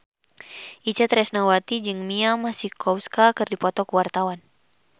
Itje Tresnawati jeung Mia Masikowska keur dipoto ku wartawan